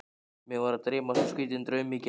Mig var að dreyma svo skrýtinn draum í gær.